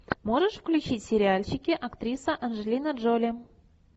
можешь включить сериальчики актриса анджелина джоли